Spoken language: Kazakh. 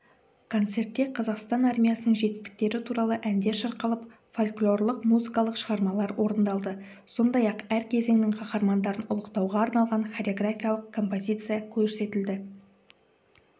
концертте қазақстан армиясының жетістіктері туралы әндер шырқалып фольклорлық музыкалық шығармалар орындалды сондай-ақ әр кезеңнің қаһармандарын ұлықтауға арналған хореграфиялық композиция көрсетілді